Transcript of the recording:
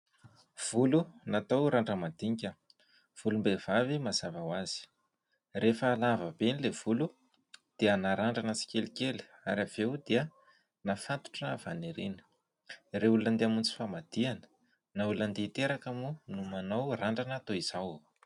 Volo natao randra-mandinika volom-behivavy mazava ho azy. Rehefa lava be ilay volo dia narandrana tsikelikely ary avy eo dia nafatotra avy any aoriana. Ireo olona handeha hamonjy famadihana na olona handeha hiteraka moa no manao randrana toy izao.